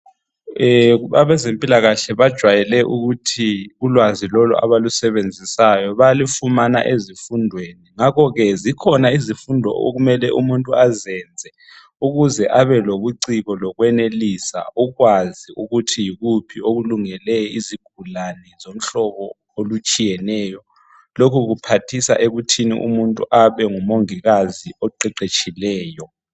abezempilakahle bajwayele ukuthi ulwazi lolu abulusebenzisayo bayalufumana ezifundweni ngakho ke zikhona izifundo okumele umuntu azenze ukuze abelobuciko lokwenelisa ukwazi ukuthi yikuphi okulungele izigulane zomhlobo olutshiyeneyo lokhu kuphathisa ekuthini umuntu abe ngu mongikazi oqeqetshileyo